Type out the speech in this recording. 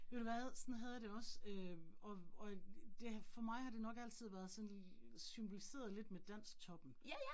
Ved du hvad, sådan havde jeg det også, øh og og det for mig har det nok altid været sådan symboliseret lidt med dansktoppen